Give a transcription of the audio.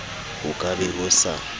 ho ka be ho sa